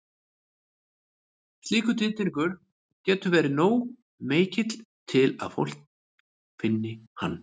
Slíkur titringur getur verið nógu mikill til að fólk finni hann.